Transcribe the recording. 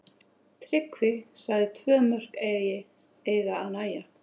Tryggvi sagði tvö mörk eiga að nægja.